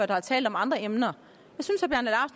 der har talt om andre emner